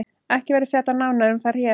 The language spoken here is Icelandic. Ekki verður fjallað nánar um þær hér.